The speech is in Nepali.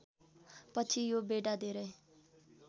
पछि यो बेडा धेरै